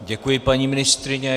Děkuji, paní ministryně.